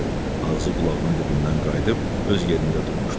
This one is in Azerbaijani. Ağzı qulağının dibindən qayıdıb öz yerində durmuşdu.